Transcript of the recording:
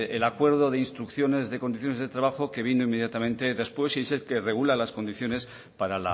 el acuerdo de instrucciones de condiciones de trabajo que vino inmediatamente después y dice que regula las condiciones para